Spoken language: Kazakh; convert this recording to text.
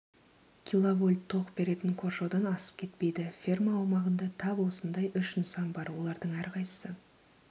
киловольт тоқ беретін қоршаудан асып кетпейді ферма аумағында тап осындай үш нысан бар олардың әрқайсысы